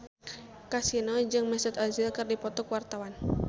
Kasino jeung Mesut Ozil keur dipoto ku wartawan